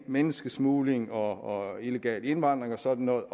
menneskesmugling og illegal indvandring og sådan noget